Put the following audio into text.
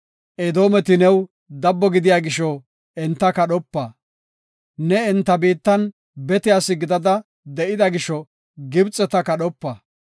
Edoometi new dabbo gidiya gisho enta kadhopa; ne enta biittan bete asi gidada de7ida gisho Gibxeta kadhopa.